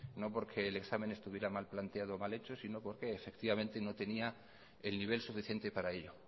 no porque el examen estaría mal planteado o mal hecho sino porque efectivamente no tenía el nivel suficiente para ello